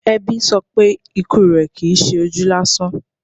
Ẹbí sọ pé ikú rẹ̀ Kìí ṣe ojú lásán.